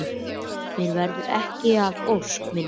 Mér verður ekki að ósk minni.